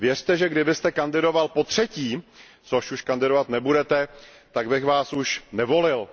Věřte, že kdybyste kandidoval potřetí, což už kandidovat nebudete, tak bych vás už nevolil.